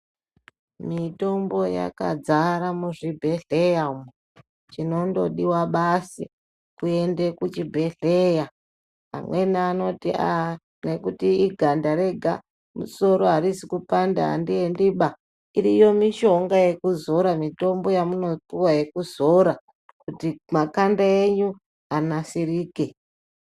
Mitombo yakazara muzvibhedhleya umo, chinongodiwa basi kuende kuchibhedhleya ,amweni anoti aah nekuti iganda rega ,musoro hauzikupanda handiendi baa. Iriyo mishonga yekuzora mitombo yamunopiwa yamuopiwa yekuzora kuti makanda enyu anyasirike.